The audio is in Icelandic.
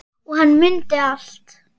Og hann mundi allt.